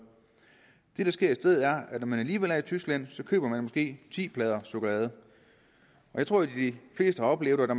det der sker i stedet er at når man alligevel er i tyskland så køber man måske ti plader chokolade jeg tror de fleste har oplevet at